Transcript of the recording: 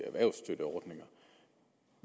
erhvervsstøtteordninger